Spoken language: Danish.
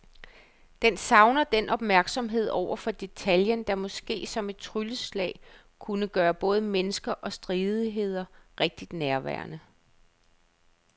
Den savner den opmærksomhed over for detaljen, der måske som et trylleslag kunne gøre både mennesker og stridigheder rigtig nærværende.